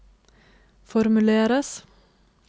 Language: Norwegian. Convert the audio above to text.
formuleres